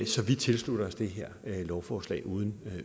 så vi tilslutter os det her lovforslag uden